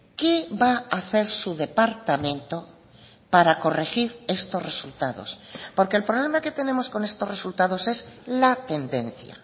qué va a hacer su departamento para corregir estos resultados porque el problema que tenemos con estos resultados es la tendencia